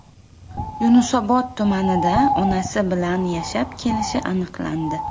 Yunusobod tumanida onasi bilan yashab kelishi aniqlandi.